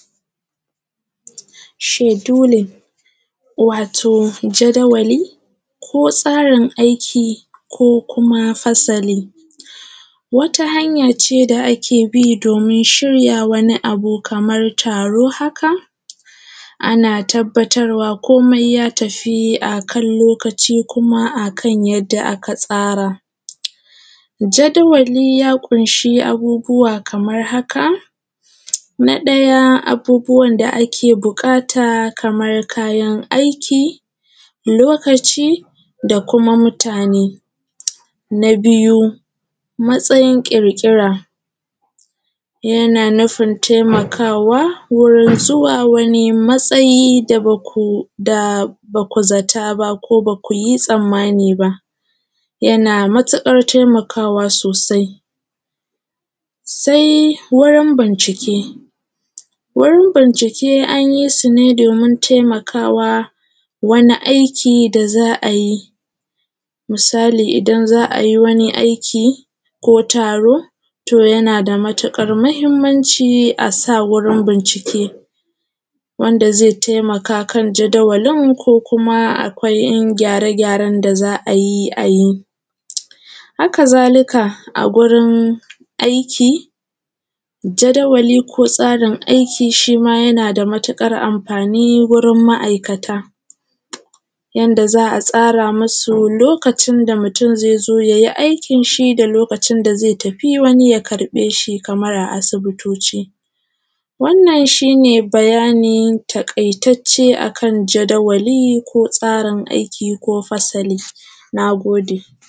Schedule wato jadawali ko tsarin aiki ko kuma fasali, wata hanya ce da ake bi domin shiryawa wani abu kaman taro, ana tabbatarwa komai ya tafi a kan lokaci kuma a kan yanda aka tsara jadawali ya ƙunshi abubuwa kaman haka: na ɗaya abubuwan da ake buƙata kamar kayan aiki, lokaci da kuma mutane, na biyu matsayin ƙirƙira - yana nufin taimakawa wurin zuwa wani matsayi da ba ku zata ba, ba ku yi tsanmani ba, yana matuƙar taimakawa sosai sai wayan bincike, warin bincike an yi su ne domin taimakawa wani aiki da za a yi misali idan za a yi wani aiki ko taro to yana da matuƙar mahinmanci a sa wurin bincike wanda zai taimakawa wurin jadawalin ko kuma akwai ‘yan gyare-gyaren da za a yi, a yi. Hakazalika a wurin aiki jadawali ko tsarin aiki shi ma yana da matuƙar amfani wurin ma’aikata yanda za a tsara musu lokacin da mutun zai zo ya yi aikin shi da lokacin da zai tafi wani ya ƙarɓe shi, kamar a asibitoci wannan shi ne bayani taƙaitacce a kan jadawali ko tsarin aiki ko fasali. Na gode.